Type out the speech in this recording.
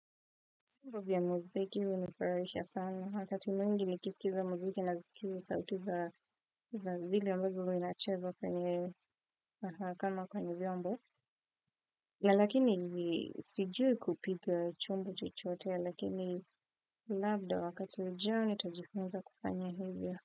Vyombo ya mwziki hunifurahisha sana wakati mwingi nikisikiza muziki nasikiza sauti za zile ambavyo huwa inachezwa kwenye kama kwenye vyombo. Na lakini ni sijui kupiga chumbo chochote lakini labda wakati ujao nitajifunza kufanya hivyo.